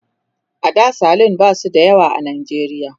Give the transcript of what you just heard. a da salon ba su da yawa a najeriya